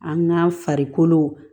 An ka farikolo